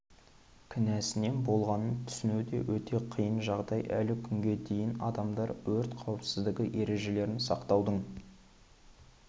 кінәсінен болғанын түсіну де өте қиын жағдай әлі күнге дейін адамдар өрт қауіпсіздігі ережелерін сақтаудың